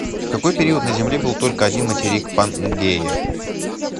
в какой период на земле был только один материк пангея